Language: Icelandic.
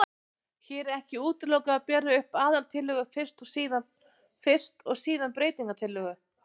Hér er ekki útilokað að bera upp aðaltillögu fyrst og síðan breytingatillögu.